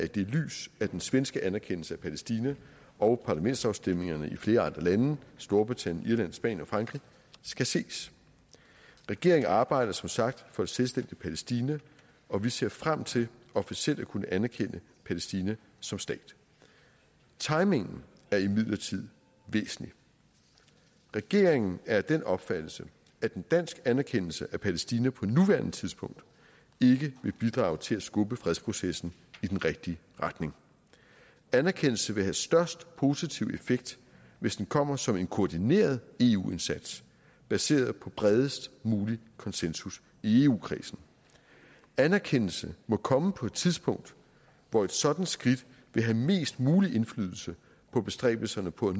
det lys at den svenske anerkendelse af palæstina og parlamentsafstemningerne i flere andre lande storbritannien irland spanien og frankrig skal ses regeringen arbejder som sagt for et selvstændigt palæstina og vi ser frem til officielt at kunne anerkende palæstina som stat timingen er imidlertid væsentlig regeringen er af den opfattelse at en dansk anerkendelse af palæstina på nuværende tidspunkt ikke vil bidrage til at skubbe fredsprocessen i den rigtige retning anerkendelsen vil have størst positiv effekt hvis den kommer som en koordineret eu indsats baseret på det bredest mulige konsensus i eu kredsen anerkendelsen må komme på et tidspunkt hvor et sådant skridt vil have mest mulig indflydelse på bestræbelserne på at